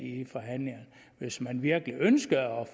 i forhandlingerne hvis man virkelig ønskede at